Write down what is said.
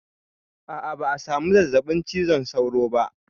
A'a ba a samu zazzaɓin cizon sauro ba